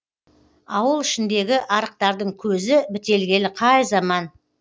ауыл ішіндегі арықтардың көзі бітелгелі қай заман